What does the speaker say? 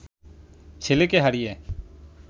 ছেলেকে হারিয়ে